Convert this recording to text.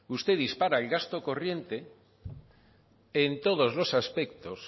usted dispara el gasto corriente en todos los aspectos